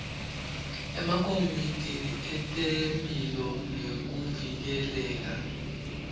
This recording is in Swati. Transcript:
emakomiti etemphilo nekuvikeleka